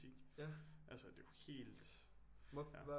Altså det er jo helt